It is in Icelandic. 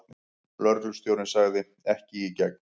Lögreglustjórinn sagði: Ekki í gegn.